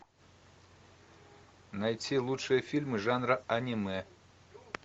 найти лучшие фильмы жанра аниме